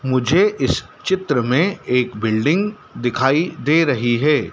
मुझे इस चित्र में एक बिल्डिंग दिखाई दे रही है।